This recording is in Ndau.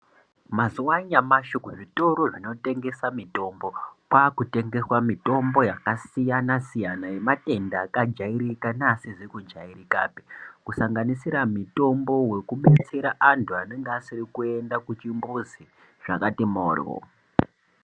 Mazuwa anyamashi, kuzvitoro zvinotengesa mitombo, kwaakutengeswa mitombo yakasiyana-siyana, yematenda akajaereka neasizi kujaerekapi, kusanganisira mitombo wekubetsera anthu anenge asiri kuenda kuchimbuzi zvakati mhoryo.